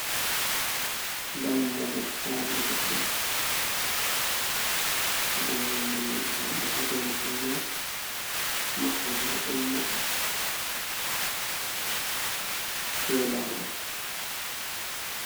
Dammugal sare goɗɗo be jamɗe ha dou mahol man. Maɓɓode bo ɗo maɓɓi dou lawol.